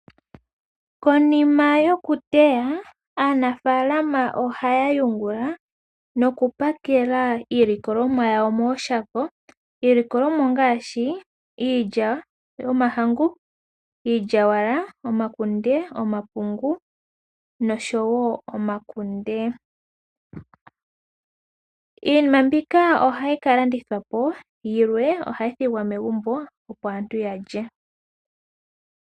Konima yokuteya, aanafaalama ohaya yungula, nokupakela iilikolomwa yawo mooshako. Iilikolomwa ongaashi, iilya yomahangu, iilyawala, omakunde noshowo omapungu. Iinima mbika ohayi kalandithwapo, yilwe ohayi thigwa megumbo, opo aantu yalye.